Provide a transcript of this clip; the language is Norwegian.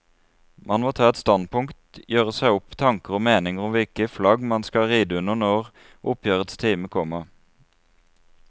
Man må ta et standpunkt, gjøre seg opp tanker og meninger om hvilket flagg man vil ride under når oppgjørets time kommer.